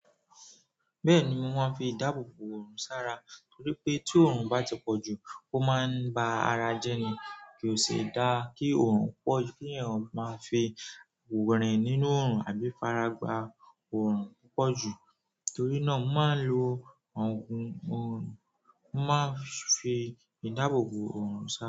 Bẹ́ẹ̀ni wón máa ń fi dábòbò òòrùn sára torí pé tí òòrùn bá ti pọ̀ jù ó máa ń ba ara jẹ́ ni kí o sì dá kí òòrùn pọ̀, kí èèyàn máa fi rin nínú òòrùn àbí fara gba òòrùn púpọ̀ jù. Torí náà wón máa ń lo òògùn òòrùn, wón máa ń fi ìdáàbòbò òòrùn sára.